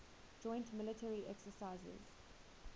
joint military exercises